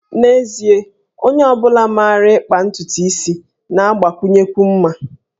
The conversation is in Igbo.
N'ezie, onye ọ bụla maara na ịkpa ntutu isi na-agbakwụnyekwu mma